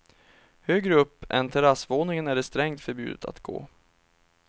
Högre upp än terrassvåningen är det strängt förbjudet att gå.